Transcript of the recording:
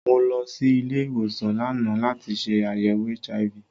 Mo lọ sí ilé-ìwòsàn lánàá láti ṣe àyèwò HIV.